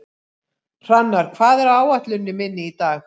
Hrannar, hvað er á áætluninni minni í dag?